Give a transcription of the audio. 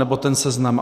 Nebo ten seznam.